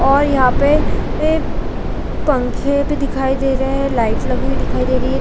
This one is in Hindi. और यहाँ पे पंखे भी दिखाई दे रहे है लाइट लगी हुई दिखाई दे रही है।